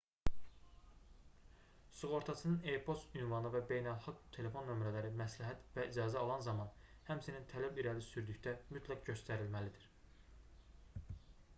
sığortaçının e-poçt ünvanı və beynəlxalq telefon nömrələri məsləhət və icazə alan zaman həmçinin tələb irəli sürdükdə mütləq göstərilməlidir